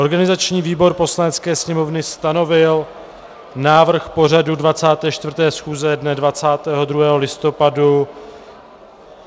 Organizační výbor Poslanecké sněmovny stanovil návrh pořadu 24. schůze dne 22. listopadu.